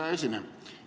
Hea esineja!